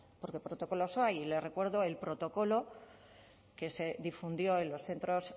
porque protocolos hay y les recuerdo el protocolo que se difundió en los centros